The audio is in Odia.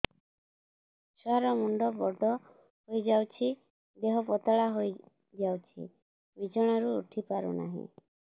ଛୁଆ ର ମୁଣ୍ଡ ବଡ ହୋଇଯାଉଛି ଦେହ ପତଳା ହୋଇଯାଉଛି ବିଛଣାରୁ ଉଠି ପାରୁନାହିଁ